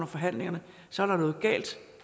forhandlingerne så er der noget galt